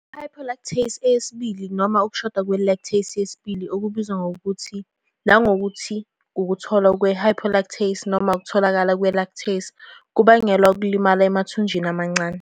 I-hypolactasia yesibili noma ukushoda kwe-lactase yesibili, okubizwa nangokuthi ukutholwa kwe-hypolactasia noma ukutholakala kwe-lactase, kubangelwa ukulimala emathunjini amancane.